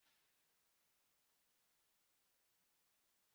Ebe niile na-ekpo ọkụ n'ọkọchị.